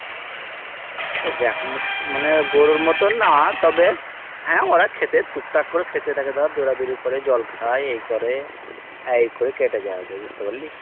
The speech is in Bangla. এ দেখুনও মানে গরুর মতন না তবে হ্যাঁ ওরা খেতে টুক টাক করে খেতেই থাকে ধর দৌড়াদৌড়ি করে জল খাই এই করে আর এই করেই কেটে যাই বে বুঝতেপারলি।